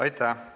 Aitäh!